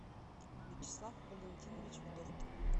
вячеслав валентинович вдовкин